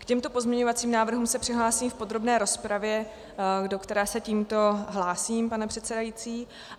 K těmto pozměňovacím návrhům se přihlásím v podrobné rozpravě, do které se tímto hlásím, pane předsedající.